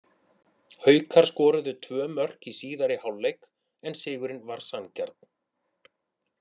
Haukar skoruðu tvö mörk í síðari hálfleik en sigurinn var sanngjarn.